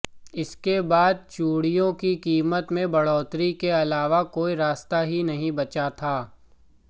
इसके बाद चूड़ियों की कीमत में बढ़ोतरी के अलावा कोई रास्ता ही नहीं बचा था